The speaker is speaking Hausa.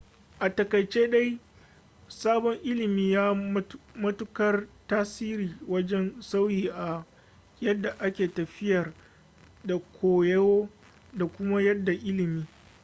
a takaice dai sabon ilimin ya yi matukar tasiri wajen sauyi a yadda ake tafiyar da koyo da kuma yada ilimi